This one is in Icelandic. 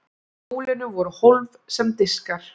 í hjólinu voru hólf sem diskar